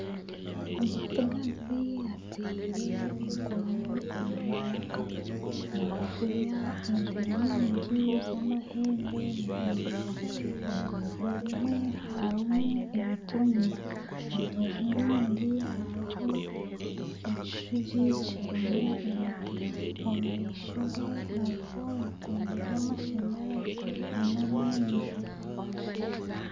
Omustigazi ataire enkoni omu maraka, naafunya ente nyingi z'amahembe maraingwa. Orubaju orumwe harimu emitumba, orubaju orundi hariho ekishugi kirimu emiti. Omu maisho ge hariho ebikondo by'amashanyarazi hamwe n'enju.